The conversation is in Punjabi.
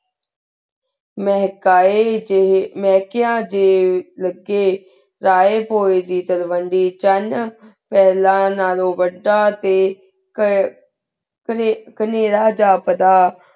ਮਹਕੀ ਜੇਹੀ ਮੇਕੇਯਾਂ ਡੀ ਲਾਘ੍ਯ ਲੀ ਹੂਯ ਦੀ ਦੇਰ੍ਵੇਂਦੀ ਚਾਨ ਫਲਾਂ ਨਾਲੁਨ ਵਾਦਾ ਟੀ ਕੀ ਕੇਂਦਰ ਝੇਪ ਦਾ